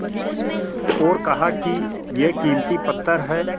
और कहा कि यह कीमती पत्थर है